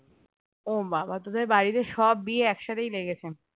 ও বাবা তোদের বাড়িতে সব বিয়ে এক সাথেই লেগেছে